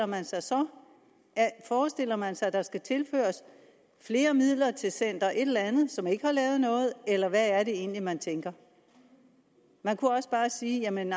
man sig så forestiller man sig at der skal tilføres flere midler til center et eller andet som ikke har lavet noget eller hvad er det egentlig man tænker man kunne også bare sige jamen